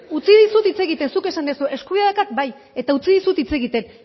utzi dizut hitz egiten zuk esan duzu eskubidea daukat bai eta utzi dizut hitz egiten